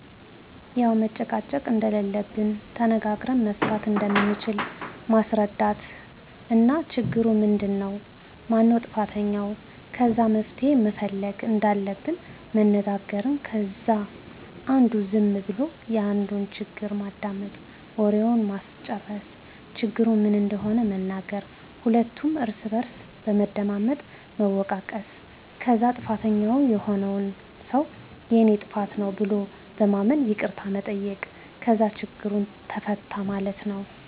ያዉ መጨቃጨቅ እንደለለብን ተነጋግረን መፍታት እንደምንችል ማስረዳት እና ችግሩ ምንድን ነዉ ? ማነዉ ጥፋተኛዉ? ከዛ መፍትሄ መፈለግ እንዳለብን መነጋገር ከዛ አንዱ ዝም ብሎ የአንዱን ችግር ማዳመጥ፣ ወሬዉን ማስጨረስ፣ ችግሩ ምን እንደሆነ መናገር ሁለቱም እርስ በርስ በመደማመጥ መወቃቀስ ከዛ ጥፋተኛዉ የሆነዉ ሰዉ የኔ ጥፋት ነዉ ብሎ በማመን ይቅርታ መጠየቅ ከዛ ችግሩ ተፈታ ማለት ነዉ።